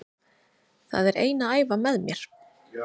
Það er ein að æfa með mér.